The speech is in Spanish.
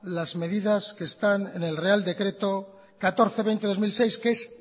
las medidas que están en el real decreto mil cuatrocientos veinte de dos mil seis que es